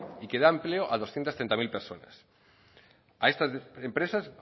y que da empleo a doscientos treinta mil personas a estas empresas